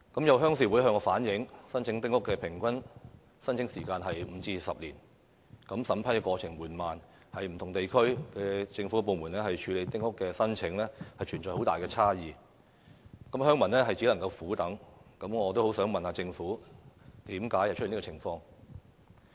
有鄉事會向我反映，丁屋的平均申請時間為5至10年，審批過程緩慢，而不同地區的政府部門處理丁屋申請亦存有很大差異，鄉民只能苦等，所以我很想問政府為何會出現這樣的情況。